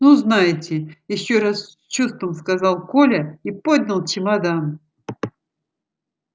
ну знаете ещё раз с чувством сказал коля и поднял чемодан